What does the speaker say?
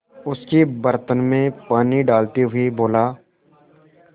उसके बर्तन में पानी डालते हुए बोला